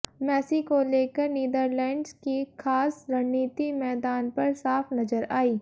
Messi को लेकर Netherlands की खास रणनीति मैदान पर साफ नजर आई